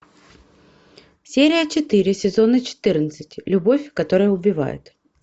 серия четыре сезона четырнадцать любовь которая убивает